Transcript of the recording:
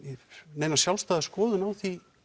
neina sjálfstæða skoðun á því